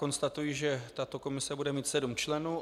Konstatuji, že tato komise bude mít sedm členů.